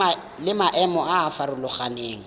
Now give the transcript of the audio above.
le maemo a a farologaneng